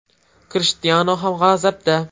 Krishtianu ham g‘azabda.